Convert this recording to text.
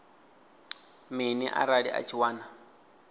mini arali a tshi wana